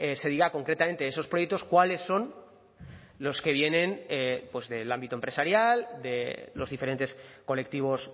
se diga concretamente esos proyectos cuáles son los que vienen pues del ámbito empresarial de los diferentes colectivos